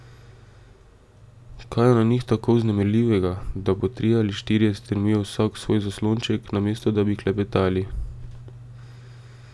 Kaj je na njih je tako vznemirljivega, da po trije ali štirje strmijo vsak v svoj zaslonček, namesto da bi klepetali?